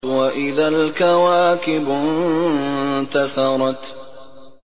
وَإِذَا الْكَوَاكِبُ انتَثَرَتْ